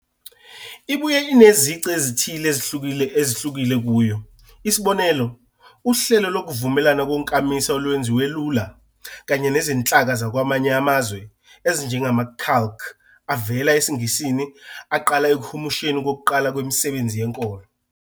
Ibuye inezici ezithile ezihlukile kuyo, isibonelo, uhlelo lokuvumelana konkamisa olwenziwe lula, kanye nezinhlaka zakwamanye amazwe, ezinjengama- calque avela esiNgisini aqala ekuhumusheni kokuqala kwemisebenzi yenkolo.